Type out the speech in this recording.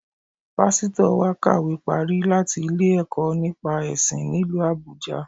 Pásítọ̀ wa kàwé parí láti ilé-ìwé ẹ̀kọ́ nípa ẹ̀sìn nílu Àbújâ